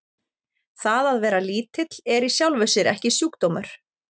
það að vera lítill er í sjálfu sér ekki sjúkdómur